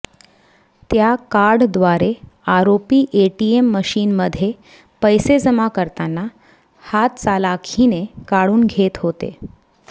त्याकार्डद्वारे आरोपी एटीएम मशीनमध्ये पैसे जमा करताना हातचलाखीने काढून घेत होते